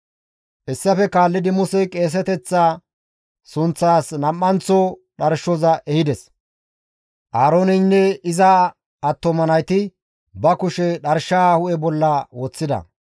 Hessafe kaallidi Musey qeeseteththa sunththas nam7anththo dharshoza ehides; Aarooneynne iza attuma nayti ba kushe dharshaa hu7e bolla woththida.